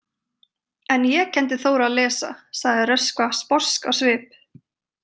En ég kenndi Þór að lesa, sagði Röskva sposk á svip.